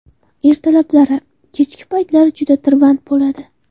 Ertalablari, kechki paytlari juda tirband bo‘ladi.